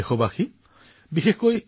ন চেতাংসী কস্য মনুজস্য